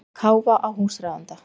Að káfa á húsráðanda.